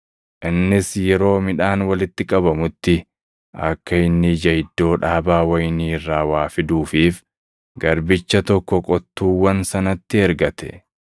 Innis yeroo midhaan walitti qabamutti akka inni ija iddoo dhaabaa wayinii irraa waa fiduufiif garbicha tokko qottuuwwan sanatti ergate.